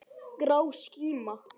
Grá skíma.